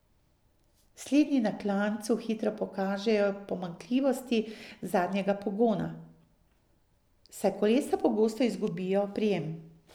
Slednji na klancu hitro pokažejo pomanjkljivosti zadnjega pogona, saj kolesa pogosto izgubijo oprijem.